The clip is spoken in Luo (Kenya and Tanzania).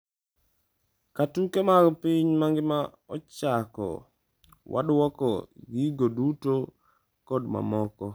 Ka tuke mag piny mangima ochako wadwoko gigo duto kod mamoko.